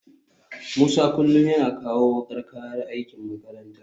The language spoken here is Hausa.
Musa kullum yana kawo wukar kayan aiki makaranta